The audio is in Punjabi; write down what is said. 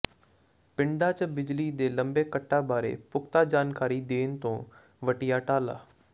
ਪਿੰਡਾਂ ਚ ਬਿਜਲੀ ਦੇ ਲੰਮੇ ਕੱਟਾਂ ਬਾਰੇ ਪੁਖਤਾ ਜਾਣਕਾਰੀ ਦੇਣ ਤੋਂ ਵੱਟਿਆ ਟਾਲਾ